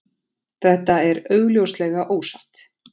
þetta er augljóslega ósatt